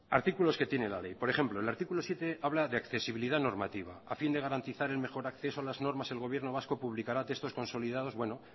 artículos que tiene la ley por ejemplo el artículo siete habla de accesibilidad normativa a fin de garantizar el mejor acceso a las normas el gobierno vasco publicará textos consolidados bueno